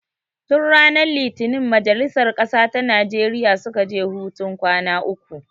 Tun ranar litinin majalisar ƙasa ta Nijeriya suka tafi hutun kwana uku.